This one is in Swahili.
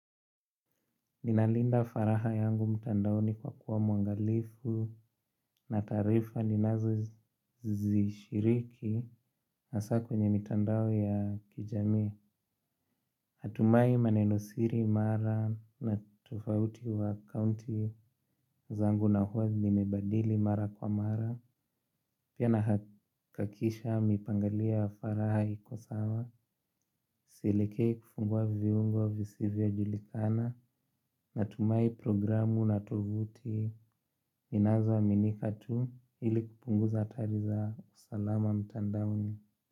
Ninalinda faraha yangu mtandaoni kwa kuwa mwangalifu na taarifa ninazozishiriki asa kwenye mitandao ya kijamii. Natumai manenosiri mara na tofauti wa kaunti zangu na huwa ninabadili mara kwa mara. Pia na hakikisha mipangilio ya faraha iko sawa. Sielekei kufungua viungo visivyojulikana. Natumai programu na tovuti zinazoaminika tu ili kupunguza hatari za usalama mtandaoni.